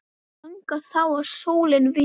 Ganga þá að sólinni vísri.